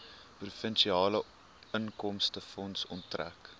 provinsiale inkomstefonds onttrek